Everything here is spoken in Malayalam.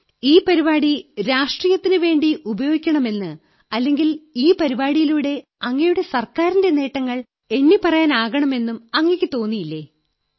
ഈ പരിപാടി രാഷ്ട്രീയത്തിനുവേണ്ടി ഉപയോഗിക്കണമെന്ന് അല്ലെങ്കിൽ ഈ പരിപാടിയിലൂടെ അങ്ങയുടെ സർക്കാരിന്റെ നേട്ടങ്ങൾ എണ്ണിപ്പറയാനാകണമെന്നും അങ്ങയെക്കു തോന്നിയില്ലേ നന്ദി